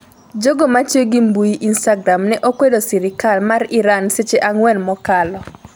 Jogo matiyo gi mbui instagram ne okwedo sirikal mar Iran seche ang'wen mokalo